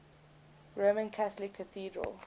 roman catholic cathedral